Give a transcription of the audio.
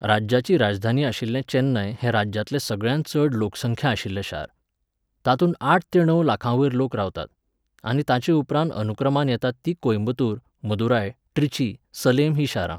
राज्याची राजधानी आशिल्लें चेन्नय हें राज्यांतलें सगळ्यांत चड लोकसंख्या आशिल्लें शार. तातूंत आठ ते णव लाखांवयर लोक रावतात. आनी ताचे उपरांत अनुक्रमान येतात तीं कोयंबत्तूर, मदुराय, ट्रिची, सलेम हीं शारां